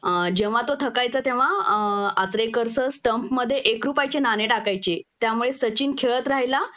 अ जेंव्हा तो थकायचा तेंव्हा अ आचरेकर सर स्टंप मध्ये एक रुपयाचे नाणे टाकायचे त्यामुळे सचिन खेळात राहिला